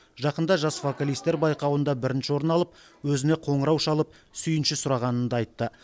жақында жас вокалистер байқауында бірінші орын алып өзіне қоңырау шалып сүйінші сұрағанын да айтты